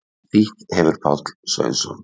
Þýtt hefir Páll Sveinsson.